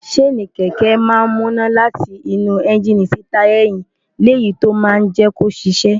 ṣéènì kẹ̀kẹ́ máa ń múná láti inú ẹ́ńgíìnì sí táyà ẹ̀yín léyìí tó máa ń jẹ́ kó ṣiṣẹ́.